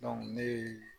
ne ye